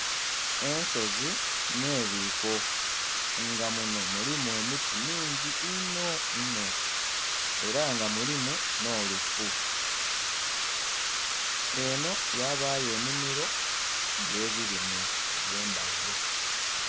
Ensozi n'ebiko nga muno mulimu emiti mingi inho inho era nga mulimu n'olufu, eno yabayo enimiro eye birime ebye ndhaghulo.